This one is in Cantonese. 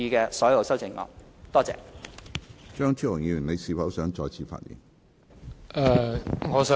張超雄議員，你是否想再次發言？